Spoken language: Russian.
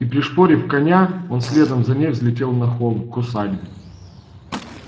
и пришпорив коня он следом за ней взлетел на холм к усадьбе